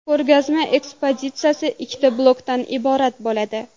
Ko‘rgazma ekspozitsiyasi ikkita blokdan iborat bo‘ladi.